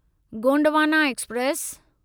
Gondwana express